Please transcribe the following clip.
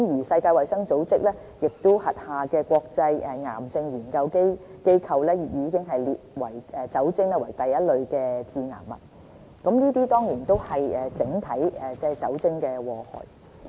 世界衞生組織轄下的國際癌症研究機構，已將酒精列為第一類致癌物，這些都是酒精整體的禍害。